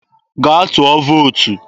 gaa tụọ vootu!